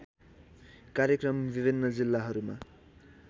कार्यक्रम विभिन्न जिल्लाहरूमा